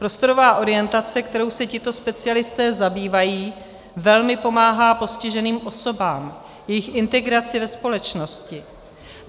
Prostorová orientace, kterou se tito specialisté zabývají, velmi pomáhá postiženým osobám, jejich integraci ve společnosti.